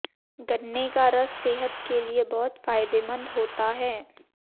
गन्ने का रस सेहत के लिए बहुत फायदेमंद होता है